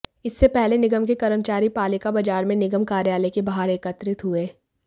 इससे पहले निगम के कर्मचारी पालिका बाजार में निगम कार्यालय के बाहर एकत्रित हुए